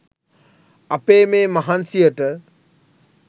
අපේ මේ මහන්සියට